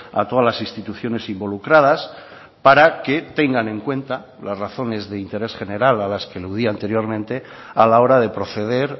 a todas las instituciones involucradas para que tengan en cuenta las razones de interés general a las que eludía anteriormente a la hora de proceder